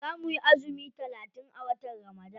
Za muyi azumi talatin a watan ramadan.